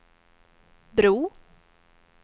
bro